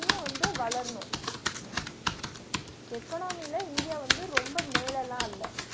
இன்னு வந்து வளரனு economy ல இந்தியா வந்து ரொம்ப மேலலா இல்ல